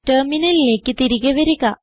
ടെർമിനലിലേക്ക് തിരികെ വരിക